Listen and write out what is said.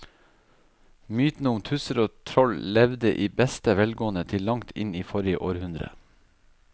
Mytene om tusser og troll levde i beste velgående til langt inn i forrige århundre.